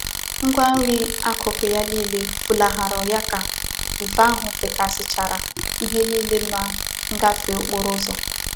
Ngwa nri akuku ya nile fulahuru yaka ifufe ahu fekasichara ihe nile na ngafe okporo uzo.